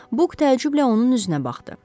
Buk təəccüblə onun üzünə baxdı.